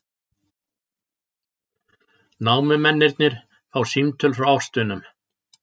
Námumennirnir fá símtöl frá ástvinum